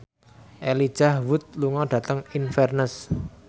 Elijah Wood lunga dhateng Inverness